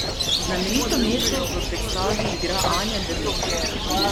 Znamenito Meto v predstavi igra Anja Drnovšek.